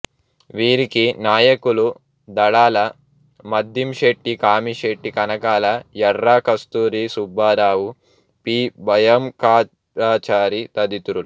వీరికి నాయకులు దడాల మద్దింశెట్టి కామిశెట్టి కనకాల యర్రా కస్తూరి సుబ్బారావు పి భయంకరాచారి తదితరులు